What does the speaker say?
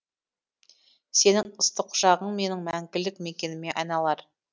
сенің ыстық құшағың менің мәңгілік мекеніме айналар